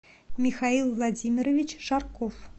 михаил владимирович шарков